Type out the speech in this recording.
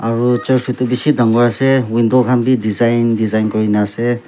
aro church edu bishi dangor ase aro window khan bi design design kurina ase.